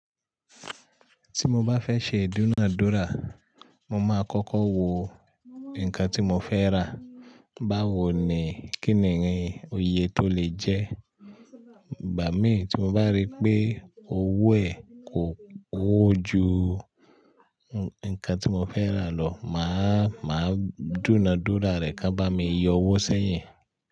Tí mo bá fẹ́ ṣe dúnadúrà, mo máa kọ́kọ́ wo nǹkan tí mo fẹ́ rà, báwo ni kíni rin iyè tó lè jẹ́. Ìgbá mi tí mo bá rí pé owó ẹ̀ kò, ó ju nǹkan tí mo fẹ́ rà lọ, màá, màá dúnadúrà rẹ̀ kán bá mi yọ owó sẹ́yìn.